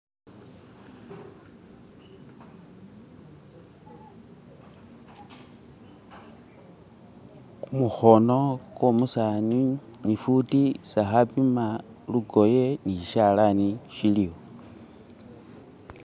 Kumukhono kwo umusani ne ifuti isi khapima lukoye ni sishalani shiliwo.